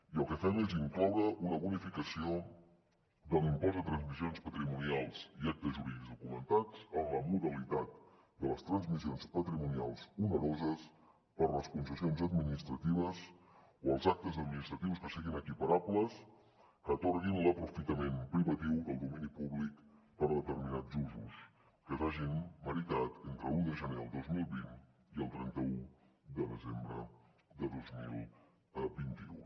i el que fem és incloure una bonificació de l’impost de transmissions patrimonials i actes jurídics documentats en la modalitat de les transmissions patrimonials oneroses per les concessions administratives o els actes administratius que siguin equiparables que atorguin l’aprofitament privatiu del domini públic per a determinats usos que s’hagin meritat entre l’un de gener del dos mil vint i el trenta un de desembre de dos mil vint u